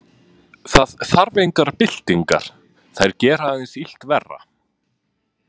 Það þarf engar byltingar, þær gera aðeins illt verra.